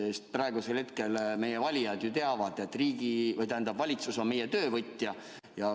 Sest meie valijad ju teavad, et valitsus on meie töövõtja.